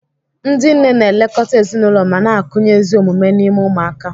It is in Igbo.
Ndị nne na-elekọta ezinụlọ ma na-akụnye ezi omume n'ime ụmụaka.